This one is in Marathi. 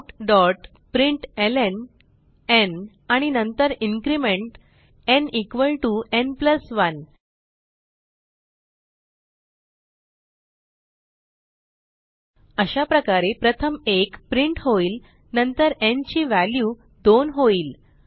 systemoutप्रिंटलं आणि नंतर इन्क्रिमेंट न् न् 1 अशाप्रकारे प्रथम 1 प्रिंट होईल नंतर न् ची व्हॅल्यू 2 होईल